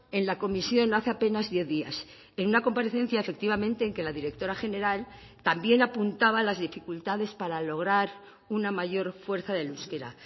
en la comisión hace apenas diez días en una comparecencia efectivamente en que la directora general también apuntaba las dificultades para lograr una mayor fuerza del euskera